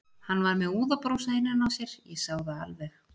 Hann var með úðabrúsa innan á sér, ég sá það alveg.